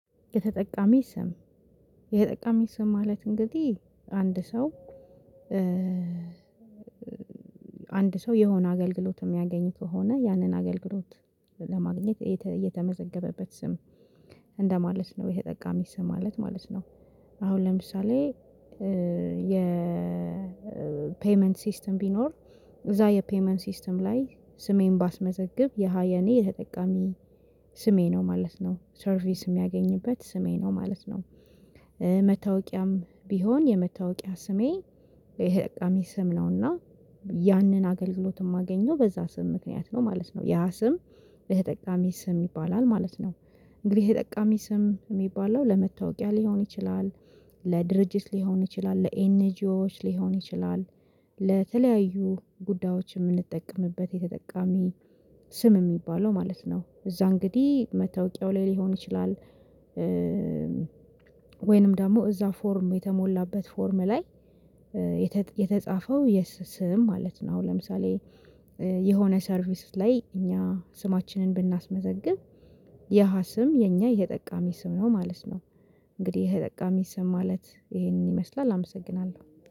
የተጠቃሚ ስም የተጠቃሚ ስም ማለት እንግዲህ አንድ ሰው አንድ ሰው የሆነ አገልግሎት የሚያገኝ ከሆነ ያንን አገልግሎት ለማግኘት የተመዘገበበት ስም እንደማለት ነው የተጠቃሚ ስም ማለት ማለት ነው። አሁን ለምሳሌ የፔይመንት ሲስተም ቢኖር እዛ የፔይመንት ሲስተም ላይ ስሜን ባስመዘግብ ያ የኔ የተጠቃሚ ስሜ ነው ማለት ነው ሰርቪስ የሚያገኝበት ስሜ ነው ማለት ነው። መታወቂያም ቢሆን የመታወቂያ ስሜ የተጠቃሚ ስም ነውና ያንን አገልግሎት የማገኘው በዛ ስም ምክንያት ነው ማለት ነው ያ ስም የተጠቃሚ ስም ይባላል ማለት ነው። እንግዲህ የተጠቃሚ ስም የሚባለው ለመታወቂያ ሊሆን ይችላል ለድርጅት ሊሆን ይችላል ለኤንጂኦዎች ሊሆን ይችላል ለተለያዩ ጉዳዮች የምንጠቀምበት የተጠቃሚ ስም የሚባለው ማለት ነው እዛ እንግዲህ መታወቂያው ላይ ሊሆን ይችላል። ወይንም ደግሞ እዛ ፎርም የተሞላበት ፎርም ላይ የተጻፈው ስም ማለት ነው አሁን ለምሳሌ የሆነ ሰርቪስ ላይ እኛ ስማችንን ብናስመዘግብ ያ ስም የኛ የተጠቃሚ ስም ነው ማለት ነው። እንግዲህ የተጠቃሚ ስም ማለት ይሄንን ይመስላል አመሰግናለሁ